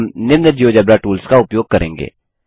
हम निम्न GeoGebra tools का उपयोग करेंगे